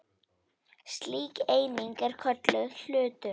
Slík eining er kölluð hlutur.